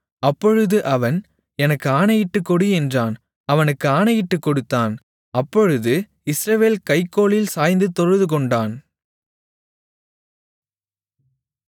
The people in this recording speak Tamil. அப்பொழுது அவன் எனக்கு ஆணையிட்டுக்கொடு என்றான் அவனுக்கு ஆணையிட்டுக்கொடுத்தான் அப்பொழுது இஸ்ரவேல் கை கோலில் சாய்ந்து தொழுதுகொண்டான்